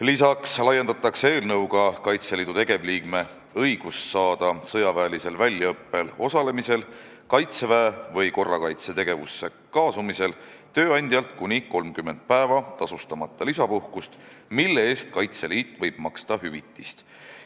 Lisaks laiendatakse eelnõuga Kaitseliidu tegevliikme õigust saada sõjaväelisel väljaõppel osalemise korral, Kaitseväe või korrakaitsetegevusse kaasamisel tööandjalt kuni 30 päeva tasustamata lisapuhkust, mille eest Kaitseliit võib maksta hüvitist.